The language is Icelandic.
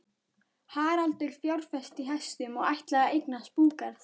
Haraldur fjárfesti í hestum og ætlaði að eignast búgarð.